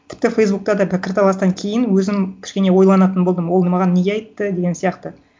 тіпті фейсбукта да пікірталастан кейін өзім кішкене ойланатын болдым оны маған неге айтты деген сияқты